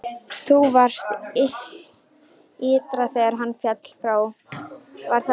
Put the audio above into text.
Þú varst ytra þegar hann féll frá, var það ekki?